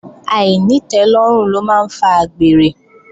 Àìnítẹ́lọ́rùn ló máa ń fa àgbèrè